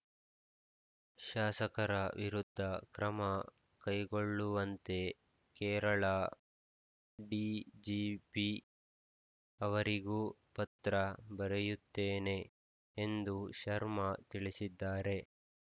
ಶಾಸಕರ ವಿರುದ್ಧ ಕ್ರಮ ಕೈಗೊಳ್ಳುವಂತೆ ಕೇರಳ ಡಿಜಿಪಿ ಅವರಿಗೂ ಪತ್ರ ಬರೆಯುತ್ತೇನೆ ಎಂದು ಶರ್ಮಾ ತಿಳಿಸಿದ್ದಾರೆ